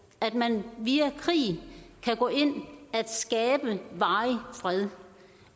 at man via krig kan gå ind at skabe varig fred